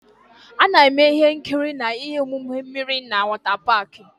A na-eme ihe nkiri na ihe omume mmiri na wọtá páák